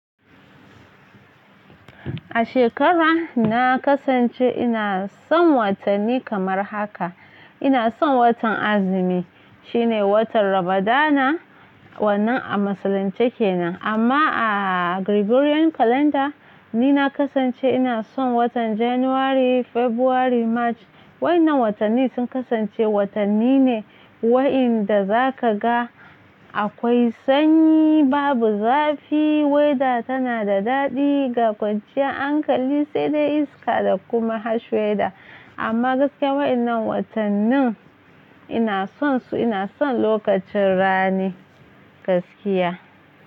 A shekara na kasance ina son watanni kamar haka. Ina son watan azumi shine watan rabada na wannan a musulunce kenan amma a Gregorian kalanda ni na kasance ina son watan January, February, March. Wai na watanni sun kasance watanni ne waɗanda za ka ga akwai sanyi, babu zafi, weta tana da daɗi ga kwanciya, anƙali sai dai iska da kuma harsh weta. Amma gaske waɗannan watannin ina son su ina son lokacin rani gaskiya.